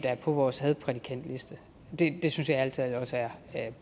er på vores hadprædikantliste det synes jeg ærlig talt også er